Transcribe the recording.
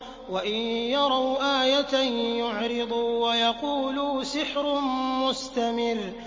وَإِن يَرَوْا آيَةً يُعْرِضُوا وَيَقُولُوا سِحْرٌ مُّسْتَمِرٌّ